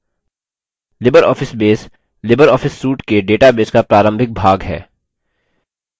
libreoffice base libreoffice suite के database का प्रारंभिक भाग है